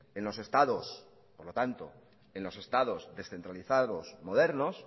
en los estados por lo tanto en los estados descentralizados modernos